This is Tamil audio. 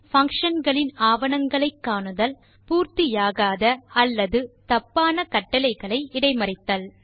பங்ஷன் களின் ஆவணங்களை காணுதல் பூர்த்தியாகாத அல்லது தப்பான கட்டளைகளை இடைமறித்தல்